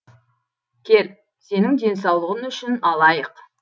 кел сенің денсаулығың үшін алайық